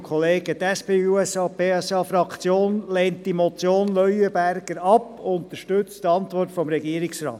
Die SP-JUSO-PSA-Fraktion lehnt die Motion Leuenberger ab und unterstützt die Antwort des Regierungsrates.